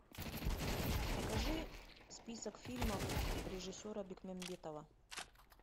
покажи список фильмов режиссера бекмамбетова